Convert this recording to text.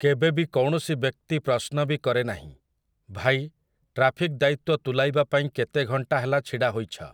କେବେବି କୌଣସି ବ୍ୟକ୍ତି ପ୍ରଶ୍ନ ବି କରେନାହିଁ, "ଭାଇ, ଟ୍ରାଫିକ୍ ଦାୟିତ୍ୱ ତୁଲାଇବା ପାଇଁ କେତେ ଘଣ୍ଟା ହେଲା ଛିଡ଼ା ହୋଇଛ"?